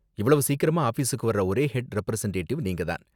இவ்ளோ சீக்கிரமா ஆபீஸுக்கு வர்ற ஒரே ஹெட் ரெப்ரசன்டேட்டிவ் நீங்க தான்.